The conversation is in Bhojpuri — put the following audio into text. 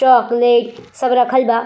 चॉकलेट सब रखल बा।